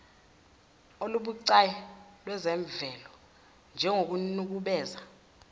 olubucayi lwezemvelo njengokunukubeza